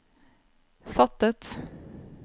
fattet